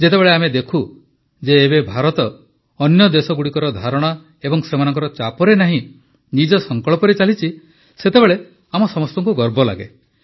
ଯେତେବେଳେ ଆମେ ଦେଖୁ ଯେ ଏବେ ଭାରତ ଅନ୍ୟ ଦେଶଗୁଡ଼ିକର ଧାରଣା ଏବଂ ସେମାନଙ୍କ ଚାପରେ ନାହିଁ ନିଜ ସଂକଳ୍ପରେ ଚାଲିଛି ସେତେବେଳେ ଆମ ସମସ୍ତଙ୍କୁ ଗର୍ବ ଲାଗେ